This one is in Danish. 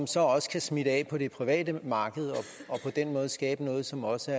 så også kan smitte af på det private marked og på den måde skabe noget som også